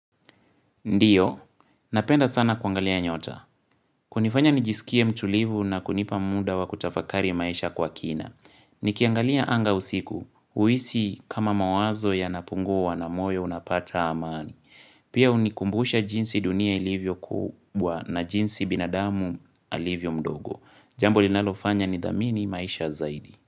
Ndiyo, napenda sana kuangalia nyota. Kunifanya nijiskie mtulivu na kunipa muda wa kutafakari maisha kwa kina. Nikiangalia anga usiku. Huhisi kama mawazo yanapunguwa na moyo unapata amani. Pia unikumbusha jinsi dunia ilivyo kubwa na jinsi binadamu alivyo mdogo. Jambo linalofanya ni dhamini maisha zaidi.